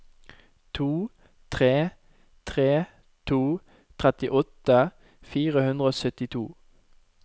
to tre tre to trettiåtte fire hundre og syttito